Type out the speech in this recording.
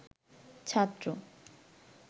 ছাত্র